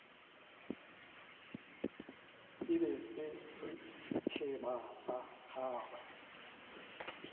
e be sešeba sa gagwe